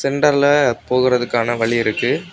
சென்டர்ல போகறதுக்கான வழி இருக்கு.